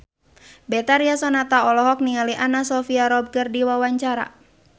Betharia Sonata olohok ningali Anna Sophia Robb keur diwawancara